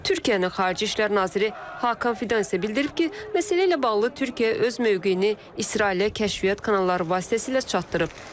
Türkiyənin xarici İşlər naziri Hakan Fidan isə bildirib ki, məsələ ilə bağlı Türkiyə öz mövqeyini İsrailə kəşfiyyat kanalları vasitəsilə çatdırıb.